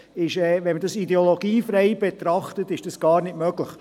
Wenn man das ideologiefrei betrachtet – es ist gar nicht möglich.